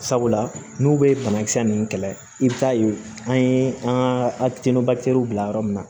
Sabula n'u bɛ banakisɛ ninnu kɛlɛ i bɛ taa yen an ye an ka bila yɔrɔ min na